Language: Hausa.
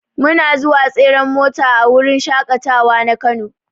Muna zuwa tseren mota a wurin shaƙatawa na kano.